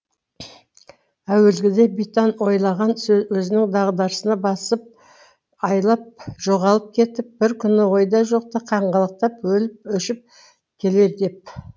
әуелгіде битан ойлаған өзінің дағдысына басып айлап жоғалып кетіп бір күні ойда жоқта қаңғалақтап өліп өшіп келер деп